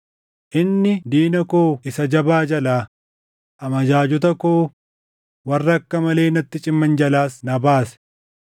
Inni diina koo isa jabaa jalaa, amajaajota koo warra akka malee natti ciman jalaas na baase.